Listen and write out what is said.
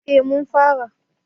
eh mun fara